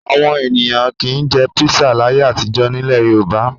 Àwọn ènìyàn kì í jẹ písà láyé àtijọ́ nílẹ̀ Yorùbá.